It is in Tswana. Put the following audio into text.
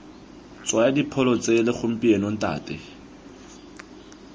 tshwaya dipholo tsele gompieno ntate